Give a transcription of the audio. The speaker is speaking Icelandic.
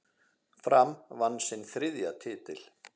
Fram vann sinn þriðja titil.